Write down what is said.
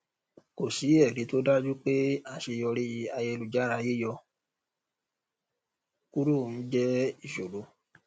kò sí ẹrí tó dájú pé aṣeyọrí ayelujára yíyọ kúrò ń jẹ ìṣòro